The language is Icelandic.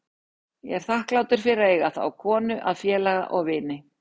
Ég er þakklátur fyrir að eiga þá konu að félaga og vini.